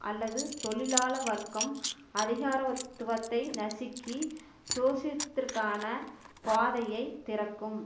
அல்லது தொழிலாள வர்க்கம் அதிகாரத்துவத்தை நசுக்கி சோசித்திற்கான பாதையை திறக்கும்